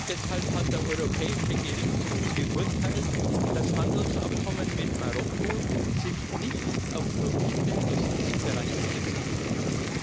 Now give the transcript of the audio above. Deshalb hat der Europäische Gerichtshof geurteilt, dass Handelsabkommen mit Marokko sich nicht auf Produkte aus diesen Bereichen beziehen dürfen.